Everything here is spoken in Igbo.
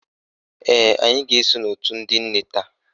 Ee, anyị ga-eso n'òtù ndị nne taa